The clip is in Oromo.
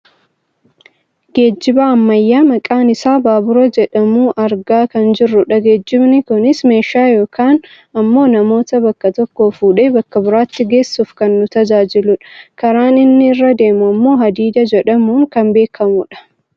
Geejjiba ammayyaa kan maqaan isaa baabura jedhamu argaa kan jirrudha. Geejjibni kunis meeshaa yookaan ammoo namoota bakka tokkoo fuudhee bakka biraatti geessuuf kan nu tajaajiludha. Karaan inni irra deemu ammoo hadiida jedhamuun kan beekkamudha.